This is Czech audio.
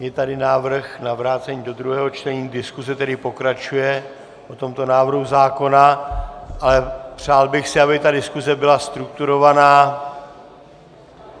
Je tady návrh na vrácení do druhého čtení, diskuse tedy pokračuje o tomto návrhu zákona, ale přál bych si, aby ta diskuse byla strukturovaná.